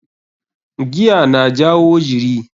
Giya na jawo jiri.